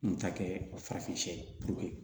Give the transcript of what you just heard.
N ta kɛɛ farafin ye